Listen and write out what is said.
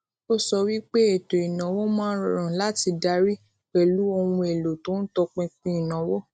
ó sọ wípé ètò ìnáwó máa ń rọrùn láti darí pẹlú ohun èèlò tí ó ń tọpinpin ìnáwó